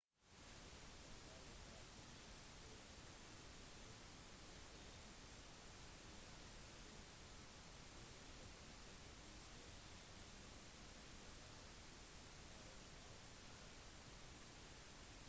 tempelet artemis på efesus ble ødelagt 21. juli 356 bce i en mordbrann begått av heltemarat